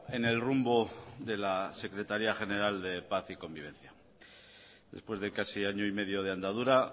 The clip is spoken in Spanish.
en el rumbo de la secretaria general de paz y convivencia después de casi año y medio de andadura